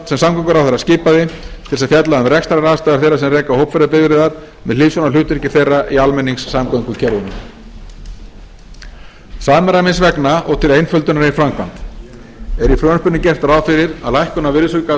sem samgönguráðherra skipaði til þess að fjalla um rekstraraðstæður þeirra sem reka hópferðabifreiðar með hliðsjón af hlutverki þeirra í almenningssamgöngukerfinu samræmis vegna og til einföldunar í framkvæmd er í frumvarpinu gert ráð fyrir að